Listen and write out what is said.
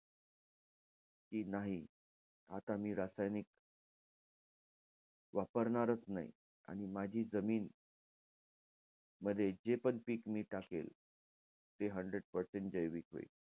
कि नाही, आता मी रासायनिक वापरणारच नाही. आणि माझी जमीन मध्ये जे पण पीक मी टाकेल, ते hundred percent जैविक राहील.